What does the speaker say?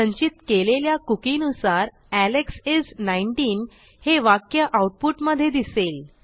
संचित केलेल्या cookieनुसार एलेक्स इस 19 हे वाक्य आऊटपुट मधे दिसेल